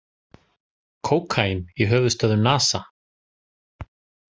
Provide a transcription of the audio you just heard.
Kókaín í höfuðstöðvum NASA